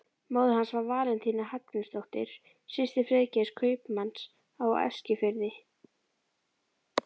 Móðir hans var Valentína Hallgrímsdóttir, systir Friðgeirs, kaupmanns á Eskifirði.